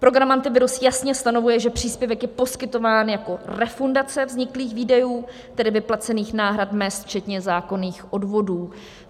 Program Antivirus jasně stanovuje, že příspěvek je poskytován jako refundace vzniklých výdajů, tedy vyplacených náhrad mezd včetně zákonných odvodů.